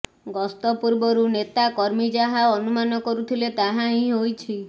ଗସ୍ତ ପୂର୍ବରୁ ନେତା କର୍ମୀ ଯାହା ଅନୁମାନ କରୁଥିଲେ ତାହା ହିଁ ହୋଇଛି